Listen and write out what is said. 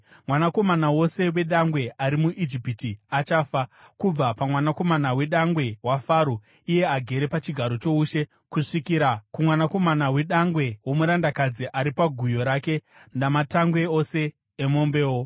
Mwanakomana wose wedangwe ari muIjipiti achafa, kubva pamwanakomana wedangwe waFaro, iye agere pachigaro choushe, kusvikira kumwanakomana wedangwe womurandakadzi, ari paguyo rake, namatangwe ose emombewo.